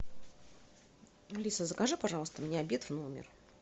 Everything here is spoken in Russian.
алиса закажи пожалуйста мне обед в номер